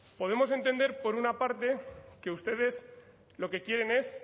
podemos entender por una parte que ustedes lo que quieren es